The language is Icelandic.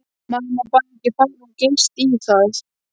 Maður má bara ekki fara of geyst í það.